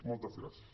moltes gràcies